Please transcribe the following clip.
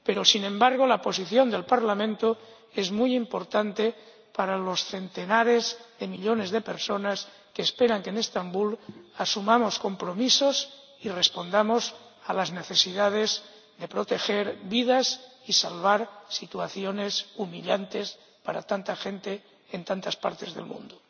Sin embargo, la posición del Parlamento es muy importante para los centenares de millones de personas que esperan que en Estambul asumamos compromisos y respondamos a las necesidades de proteger vidas y acabar con situaciones humillantes para tanta gente en tantas partes del mundo.